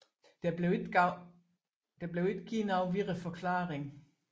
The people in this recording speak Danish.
Der blev ikke givet nogen videre forklaring